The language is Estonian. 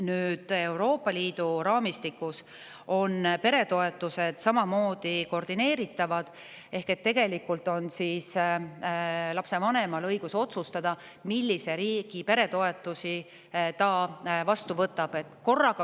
Nüüd, Euroopa Liidus on peretoetused samamoodi koordineeritavad ehk tegelikult on lapsevanemal õigus otsustada, millise riigi peretoetusi ta vastu võtab.